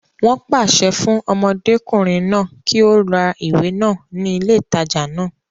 Wọ́n pàṣẹ fún ọmọdékùnrin náà kí ó ra ìwé náà ní ilé ìtajà náà